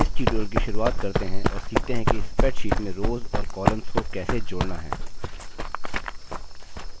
इस tutorial की शुरुआत करते हैं और सीखते हैं कि spreadsheet में रोव्स और columns को कैसे जोड़ना है